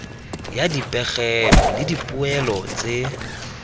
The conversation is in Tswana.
ya dipegelo le dipoelo tse